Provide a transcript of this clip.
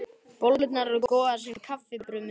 Bollurnar eru góðar sem kaffibrauð með svolitlu viðbiti.